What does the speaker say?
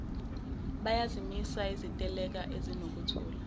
bayazimisa iziteleka ezinokuthula